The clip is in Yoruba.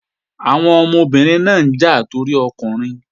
Àwọn ọmọbìnrin náà ń jà torí ọkùnrin